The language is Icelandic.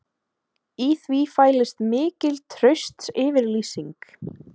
Í því fælist mikil traustsyfirlýsing